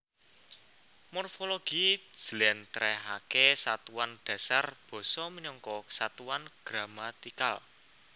Morfologi njlentrehake satuan dasar basa minangka satuan gramatikal